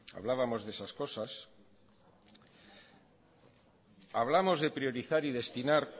hablábamos de esas cosas hablamos de priorizar y destinar